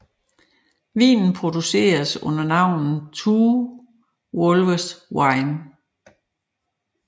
Vinene produceres under navnet Two Wolves Wine